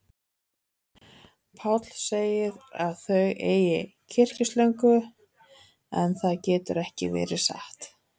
Páll segir að þau eigi kyrkislöngu, en það getur ekki verið satt.